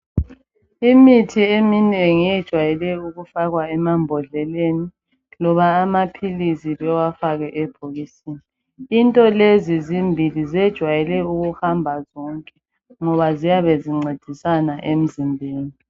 Imithi eminengi eyejwayele ukufakwa emambodleleni loba amaphilizi bewafake ebhodleleni, into lezi zimbili zejwayele ukuhamba zonke, ngoba ziyabe zincedisana emzimbeni.